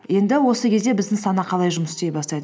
енді осы кезде біздің сана қалай жұмыс істей бастайды